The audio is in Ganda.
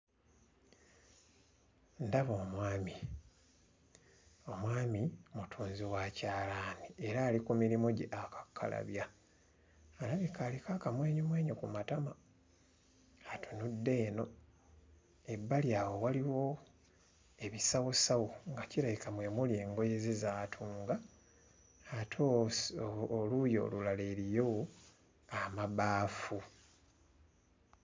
Ndaba omwami omwami mutunzi wa kyalaani era ali ku mirimu gye akakkalabya alabika aliko akamwenyumwenyu ku matama atunudde eno ebbali awo waliwo ebisawosawo nga kirabika mwe muli engoye ze z'atunga ate oluusi o oluuyi olulala eriyo amabaafu.